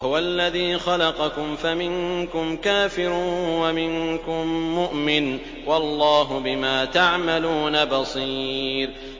هُوَ الَّذِي خَلَقَكُمْ فَمِنكُمْ كَافِرٌ وَمِنكُم مُّؤْمِنٌ ۚ وَاللَّهُ بِمَا تَعْمَلُونَ بَصِيرٌ